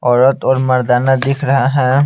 औरत और मर्दाना दिख रहा है।